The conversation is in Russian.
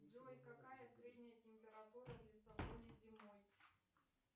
джой какая средняя температура в лиссабоне зимой